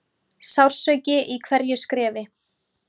Sársauki í hverju skrefi.